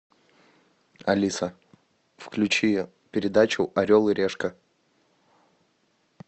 алиса включи передачу орел и решка